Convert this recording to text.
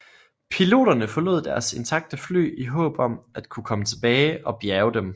Piloterne forlod deres intakte fly i håb om at kunne komme tilbage og bjærge dem